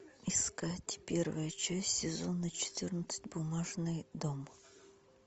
искать первая часть сезона четырнадцать бумажный дом